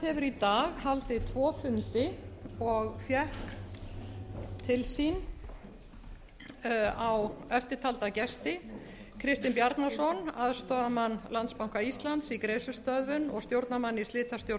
í dag haldið tvo fundi og fékk til sín eftirtalda gesti kristinn bjarnason aðstoðarmann landsbanka íslands í greiðslustöðvun og stjórnarmann í slitastjórn